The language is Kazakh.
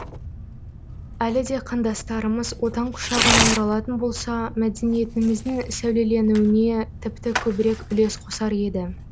әлі де қандастарымыз отан құшағына оралатын болса мәдениетіміздің сәулеленуіне тіпті көбірек үлес қосар еді